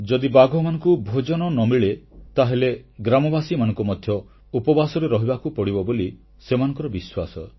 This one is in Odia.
ଯଦି ବାଘମାନଙ୍କୁ ଭୋଜନ ନ ମିଳେ ତାହେଲେ ଗ୍ରାମବାସୀମାନଙ୍କୁ ମଧ୍ୟ ଉପବାସରେ ରହିବାକୁ ପଡ଼ିବ ବୋଲି ସେମାନଙ୍କର ବିଶ୍ୱାସ